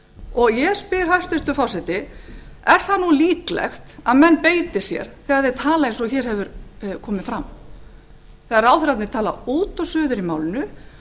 og ég spyr hæstvirtur forseti er það líklegt að menn beiti sér þegar þeir tala eins og hér hefur komið fram þegar ráðherrarnir tala út og suður í málinu